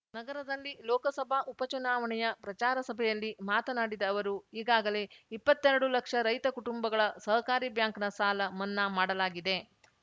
ನಗರದಲ್ಲಿ ಲೋಕಸಭಾ ಉಪಚುನಾವಣೆಯ ಪ್ರಚಾರಸಭೆಯಲ್ಲಿ ಮಾತನಾಡಿದ ಅವರು ಈಗಾಗಲೇ ಇಪ್ಪತ್ತೆರಡು ಲಕ್ಷ ರೈತಕುಟುಂಬಗಳ ಸಹಕಾರಿ ಬ್ಯಾಂಕ್‌ನ ಸಾಲ ಮನ್ನಾ ಮಾಡಲಾಗಿದೆ